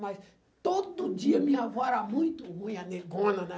Mas todo dia minha avó era muito ruim, a negona, né?